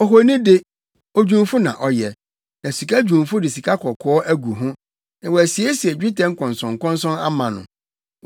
Ohoni de, odwumfo na ɔyɛ, na sikadwumfo de sikakɔkɔɔ agu ho na wasiesie dwetɛ nkɔnsɔnkɔnsɔn ama no.